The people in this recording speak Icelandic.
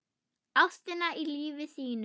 Ástina í lífi sínu.